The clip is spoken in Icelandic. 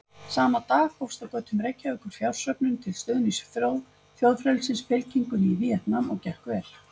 Sama dag hófst á götum Reykjavíkur fjársöfnun til stuðnings Þjóðfrelsisfylkingunni í Víetnam og gekk vel.